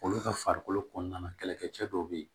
Olu ka farikolo kɔnɔna na kɛlɛkɛ cɛ dɔw bɛ yen